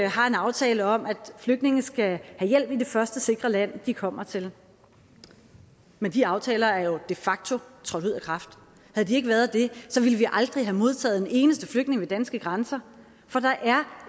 har en aftale om at flygtninge skal have hjælp i det første sikre land de kommer til men de aftaler er jo de facto trådt ud af kraft havde de ikke været det ville vi aldrig have modtaget en eneste flygtning ved danske grænser for der er